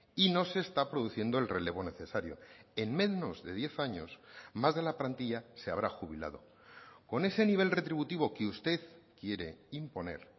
y no se está produciendo el relevo necesario en menos de diez años más de la plantilla se habrá jubilado con ese nivel retributivo que usted quiere imponer